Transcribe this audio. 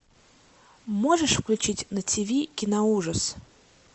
можешь включить на тиви киноужас